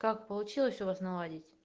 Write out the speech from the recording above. как получилось у вас наладить